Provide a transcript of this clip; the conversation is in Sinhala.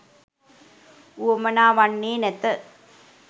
වුවමනා වන්නේ නැත.